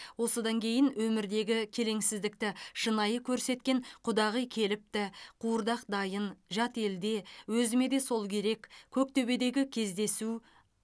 осыдан кейін өмірдегі келеңсіздікті шынайы көрсеткен құдағи келіпті қуырдақ дайын жат елде өзіме де сол керек көктөбедегі кездесу